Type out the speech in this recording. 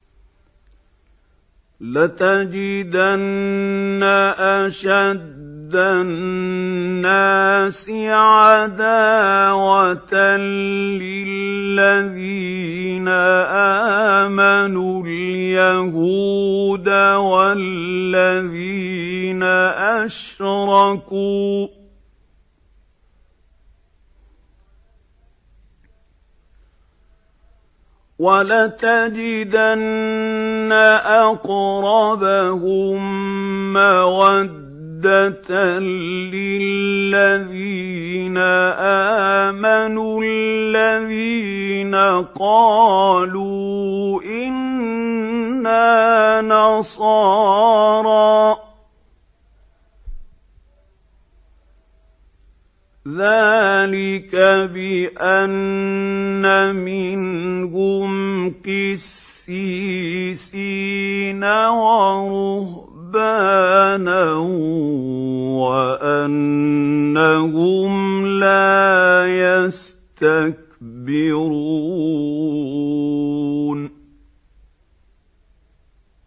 ۞ لَتَجِدَنَّ أَشَدَّ النَّاسِ عَدَاوَةً لِّلَّذِينَ آمَنُوا الْيَهُودَ وَالَّذِينَ أَشْرَكُوا ۖ وَلَتَجِدَنَّ أَقْرَبَهُم مَّوَدَّةً لِّلَّذِينَ آمَنُوا الَّذِينَ قَالُوا إِنَّا نَصَارَىٰ ۚ ذَٰلِكَ بِأَنَّ مِنْهُمْ قِسِّيسِينَ وَرُهْبَانًا وَأَنَّهُمْ لَا يَسْتَكْبِرُونَ